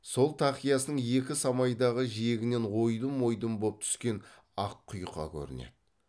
сол тақиясының екі самайдағы жиегінен ойдым ойдым боп түскен ақ құйқа көрінеді